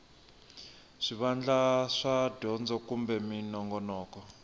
swivandla swa dyondzo kumbe minongonoko